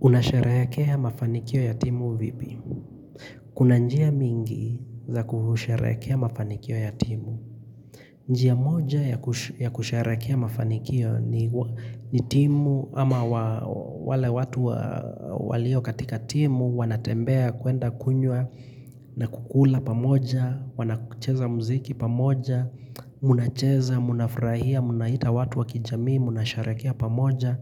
Unasharehekea mafanikio ya timu vipi? Kuna njia mingi za kusherehekea ya mafanikio ya timu. Njia moja ya kusherekea ya mafanikio ni timu ama wale watu walio katika timu wanatembea kwenda kunwa na kukula pamoja, Wanakucheza mziki pamoja Munacheza, munafurahia Munaita watu wakijamii Munasharekea pamoja